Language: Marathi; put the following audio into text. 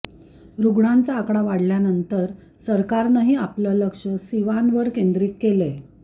रुग्णांचा आकडा वाढल्यानंत सरकारनंही आपलं लक्ष सिवानवर केंद्रीत केलंय